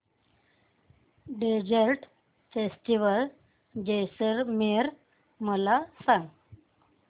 desert festival Jaisalmer मला सांग